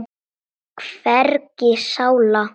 Hvergi sála.